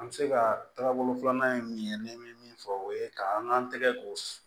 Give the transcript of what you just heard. An bɛ se ka taga bolo filanan min n bɛ min fɔ o ye ka an k'an tɛgɛ ko